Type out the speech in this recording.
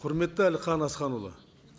құрметті әлихан асханұлы